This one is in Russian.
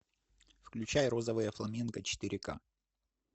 включай розовое фламинго четыре ка